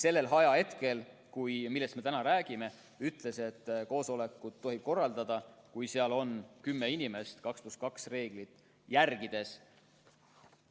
Sellel ajahetkel, millest me täna räägime, tohtis koosolekut korraldada, kui seal osales kõige rohkem kümme inimest 2 + 2 reeglit järgides.